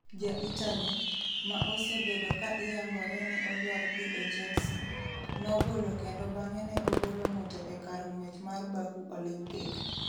Ja-Italy, ma osebedo ka iyangore ni odwar dhi e Chelsea, nobolo kendo bang'e ne obolo ng'ute e kar ng'wech mar Baku Olympic.